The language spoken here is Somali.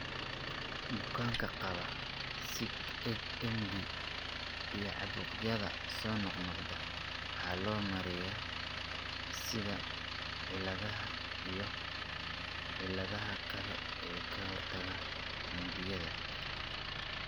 Bukaanka qaba SIgMD iyo caabuqyada soo noqnoqda waxaa loo maareeyaa sida cilladaha iyo cilladaha kale ee ka hortagga unugyada.